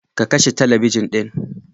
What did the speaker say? Ka kashe talabijin ɗin.